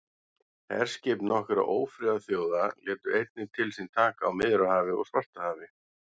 herskip nokkurra ófriðarþjóða létu einnig til sín taka á miðjarðarhafi og svartahafi